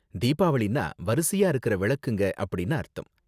தீபாவளினா வரிசையா இருக்குற விளக்குங்க அப்படின்னு அர்த்தம்.